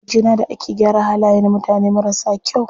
Wajena da ake gyara halaye na mutane marasa kyau.